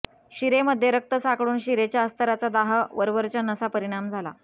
शिरेमध्ये रक्त साकळून शिरेच्या अस्तराचा दाह वरवरच्या नसा परिणाम झाला